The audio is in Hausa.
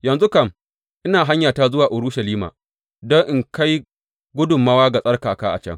Yanzu kam, ina hanyata zuwa Urushalima don in kai gudummawa ga tsarkaka a can.